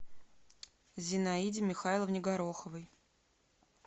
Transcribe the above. зинаиде михайловне гороховой